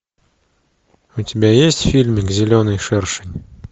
у тебя есть фильмик зеленый шершень